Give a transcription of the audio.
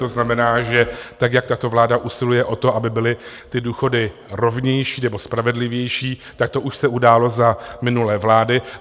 To znamená, že tak, jak tato vláda usiluje o to, aby byly ty důchody rovnější nebo spravedlivější, tak to už se událo za minulé vlády.